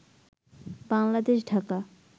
Bangladesh Dhaka